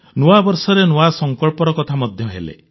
ନୂଆବର୍ଷରେ ନୂଆ ସଂକଳ୍ପର କଥା ମଧ୍ୟ ହେଲେ